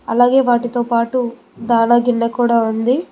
అలాగే వాటితో పాటు దాన గిన్నె కూడా ఉంది.